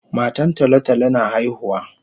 Matan tolo tolo na haihuwa